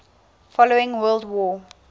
following world war